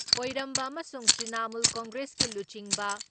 ꯑꯣꯏꯔꯝꯕ ꯑꯃꯁꯨꯡ ꯇ꯭ꯔꯤꯅꯥꯃꯨꯜ ꯀꯪꯒ꯭ꯔꯦꯁꯀꯤ ꯂꯨꯆꯤꯡꯕ